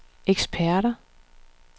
eksperter